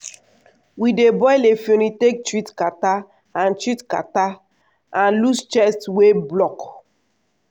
we dey boil efirin take treat catarrh and treat catarrh and loose chest wey block.